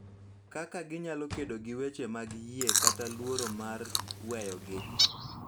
Kaka ginyalo kedo gi weche mag yie kata luoro mar weyogi.